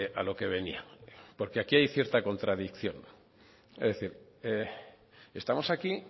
a lo que venía porque aquí hay cierta contradicción es decir estamos aquí